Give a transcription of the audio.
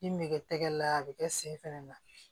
Min me kɛ tɛgɛ la a bɛ kɛ sen fɛnɛ na